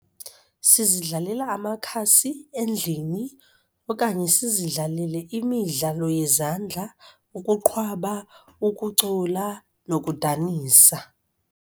Sizidlalela amakhasi endlini okanye sizidlalele imidlalo yezandla, ukuqhwaba, ukucula nokudanisa.